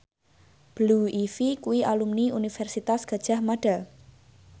Blue Ivy kuwi alumni Universitas Gadjah Mada